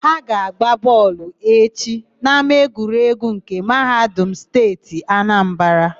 Ha ga-agba bọọlụ echi n'ámáegwuregwu nke Mahadum Steeti Anambara.